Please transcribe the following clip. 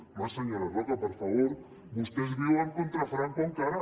home senyora roca per favor vostès viuen contra franco encara